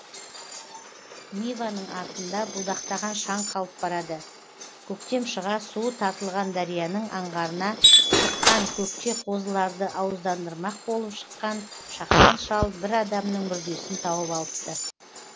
ниваның артында будақтаған шаң қалып барады көктем шыға суы тартылған дарияның аңғарына шыққан көкке қозыларды ауыздандырмақ болып шыққан шақан шал бір адамның мүрдесін тауып алыпты